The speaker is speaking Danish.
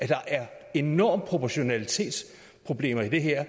der er enorme proportionalitetsproblemer i det her